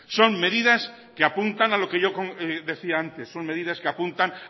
son medidas que apuntan a lo que yo decía antes son medidas que apuntan